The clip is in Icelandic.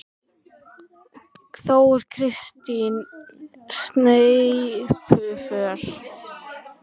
Þóra Kristín: Sneypuför?